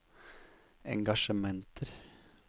engasjementer